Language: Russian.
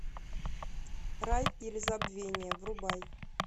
рай или забвение врубай